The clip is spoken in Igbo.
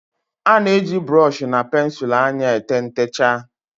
a na-eji brooshi na pensụl anya ete ntechaa